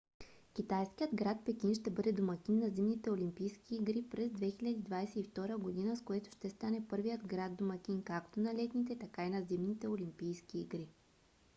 китайският град пекин ще бъде домакин на зимните олимпийски игри през 2022 г. с което ще стане първият град домакин както на летните така и на зимните олимпийски игри